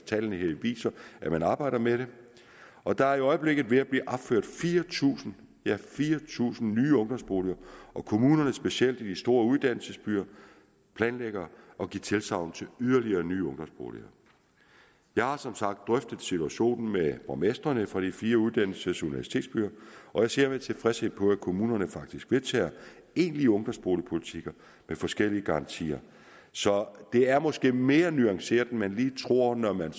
tallene her viser der arbejdes med det og der er i øjeblikket ved at blive opført fire tusind fire tusind nye ungdomsboliger og kommunerne i specielt de store uddannelsesbyer planlægger at give tilsagn til yderligere nye ungdomsboliger jeg har som sagt drøftet situationen med borgmestrene fra de fire uddannelses og universitetsbyer og jeg ser med tilfredshed på at kommunerne faktisk vedtager egentlige ungdomsboligpolitikker med forskellige garantier så det er måske mere nuanceret end man måske lige tror når man